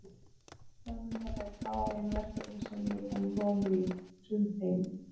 Framundan eru fáein verkefni sem ég er búinn að lofa mér í, sum tengd